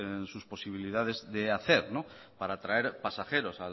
en sus posibilidades de hacer para traer pasajeros